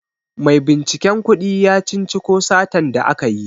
Maibinciken kudi ya cinciko satan da aka yi.